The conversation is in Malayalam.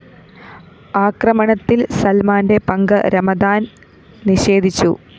ആക്രമണത്തില്‍ സല്‍മാന്റെ പങ്ക് രമദാന്‍ നിഷേധിച്ചു